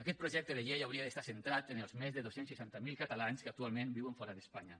aquest projecte de llei hauria d’estar centrat en els més de dos cents i seixanta miler catalans que actualment viuen fora d’espanya